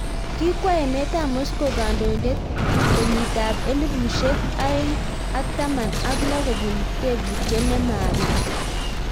Kikwei emet ab Moscow kandoindet kenyit ab elipushek aen'g ak taman ak lo kopun tebutyet nemabit